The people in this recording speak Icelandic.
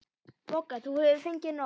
BOGGA: Þú hefur fengið nóg.